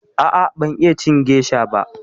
A'a ban iya cin gesha ba.